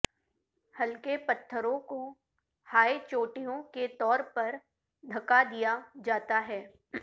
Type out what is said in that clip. ہلکے پتھروں کو ہائی چوٹیوں کے طور پر دھکا دیا جاتا ہے